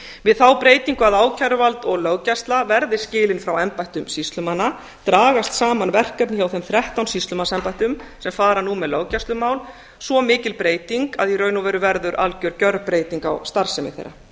við þá breytingu að ákæruvald og löggæsla verði skilin frá embættum sýslumanna dragast saman verkefni hjá þeim þrettán sýslumannsembættum sem fara nú með löggæslumál svo mikil breyting að í raun og veru verður algjör gjörbreyting á starfsemi þeirra